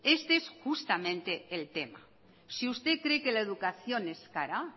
este es justamente el tema si usted cree que la educación es cara